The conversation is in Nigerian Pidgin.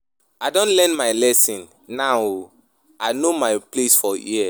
I don learn my lesson now o, I know my place for here.